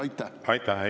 Aitäh!